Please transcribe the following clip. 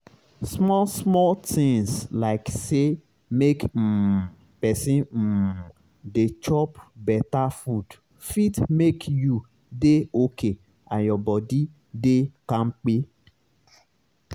small-small tinz like say make um pesin um dey chop beta food fit make you dey okay and your body dey kampe.